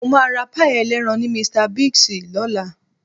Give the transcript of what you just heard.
Mo máa ra páì ẹlẹ́ran ní Mr Biggs lọ́la